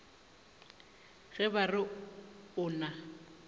ge ba re o na